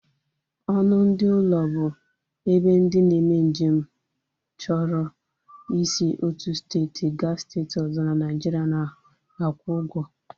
Ọnụ ndị ụlọ bụ ebe ndị na-eme nje m chọrọ i si otu steeti ga steeti ọzọ n'Naijiria na-akwụ ugwo